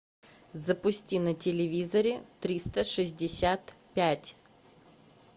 запусти на телевизоре триста шестьдесят пять